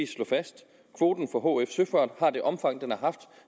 slå fast at kvoten for hf søfart har det omfang den har haft